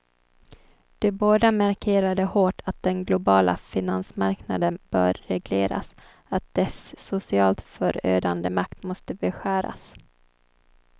De båda markerade hårt att den globala finansmarknaden bör regleras, att dess socialt förödande makt måste beskäras.